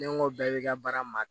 Ne n ko bɛɛ bɛ ka baara ma